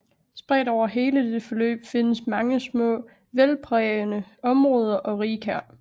Spredt over hele dette forløb findes mange små vældprægede områder og rigkær